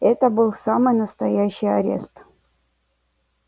это был самый настоящий арест